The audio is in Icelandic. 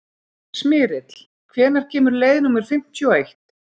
Smyrill, hvenær kemur leið númer fimmtíu og eitt?